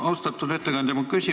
Austatud ettekandja!